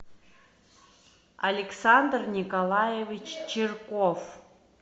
александр николаевич чирков